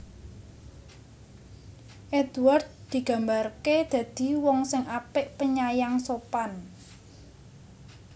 Édward digambarké dadi wong sing apik penyayang sopan